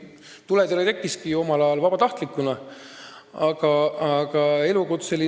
Tuletõrje tekkiski ju omal ajal vabatahtlikkuse alusel.